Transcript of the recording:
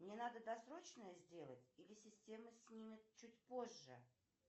мне надо досрочное сделать или система снимет чуть позже